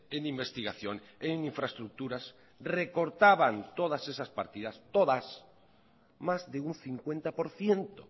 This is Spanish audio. en investigación en infraestructuras recortaban todas esas partidas todas más de un cincuenta por ciento